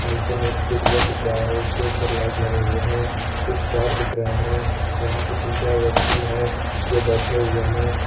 नीचे में एक स्विचबोर्ड दिख रहा है उसके ऊपर लाइट लगे हुए हैं कुछ तार दिख रहे हैं यहां पे तीन चार व्यक्ति है जो बैठे हुए हैं।